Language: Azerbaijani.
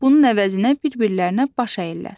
Bunun əvəzinə bir-birlərinə baş əyirlər.